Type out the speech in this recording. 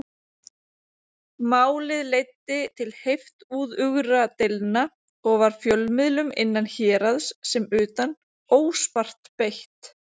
Málið leiddi til heiftúðugra deilna, og var fjölmiðlum innan héraðs sem utan óspart beitt.